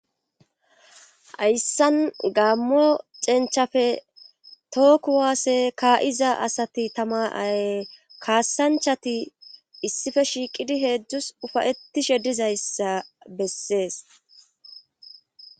Hayssan gaammo cenchafe tooku waasse kaa'iza asati tamaay kaassanchati issife shiiqidi heedzdzus ufayetishe dizayssa bessees.